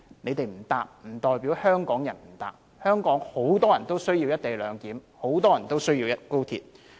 他們不乘搭高鐵，不代表香港人不乘搭，香港很多人需要"一地兩檢"、很多人需要高鐵。